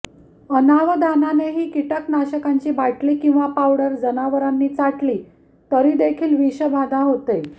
अनावधानाने ही कीटकनाशकांची बाटली किंवा पावडर जनावरांनी चाटली तरीदेखील विषबाधा होते